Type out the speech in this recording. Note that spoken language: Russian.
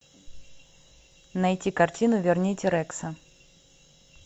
найти картину верните рекса